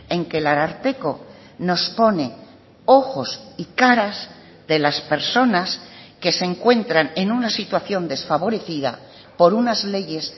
en que el ararteko nos pone ojos y caras de las personas que se encuentran en una situación desfavorecida por unas leyes